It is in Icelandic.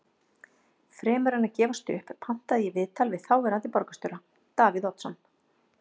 Fremur en að gefast upp pantaði ég viðtal við þáverandi borgarstjóra, Davíð Oddsson.